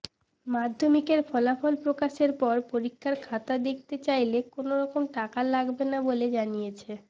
মাধ্যমিকের ফলাফল প্রকাশের পর পরীক্ষার খাতা দেখতে চাইলে কোনো রকম টাকা লাগবে না বলে জানিয়েছে